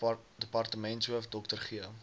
departementshoof dr g